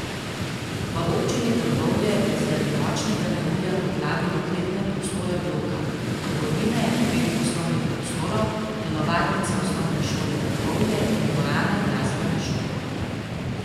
V Občini Trbovlje je zaradi močnega neurja poplavilo kletne prostore bloka, trgovine, dveh poslovnih prostorov, telovadnice Osnovne šole Trbovlje in dvorane Glasbene šole.